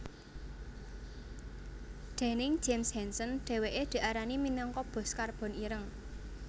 Déning James Hansen dhèwèké diarani minangka bos karbon ireng